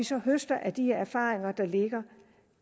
så høste af de erfaringer der ligger